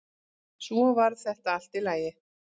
Svo varð þetta allt í lagi.